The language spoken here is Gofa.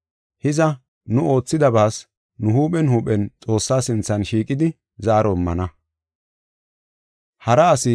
Hiza, nu oothidabaas nu huuphen huuphen Xoossaa sinthan shiiqidi zaaro immana.